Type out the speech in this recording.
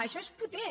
això és potent